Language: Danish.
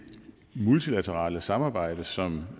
multilaterale samarbejde som